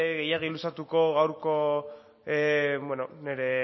gehiago luzatuko gaurko nire